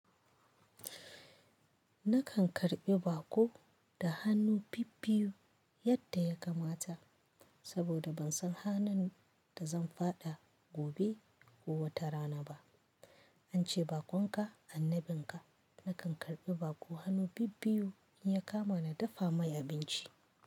Nakan karɓi baƙo da hannu bibbiyu yadda ya kamata, saboda ban san hanun da zan faɗa gobe ko wata rana ba. An ce bakonka annabinka. Nakan karɓi baƙo hannu bibbiyu in ya kama na dafa mai abinci.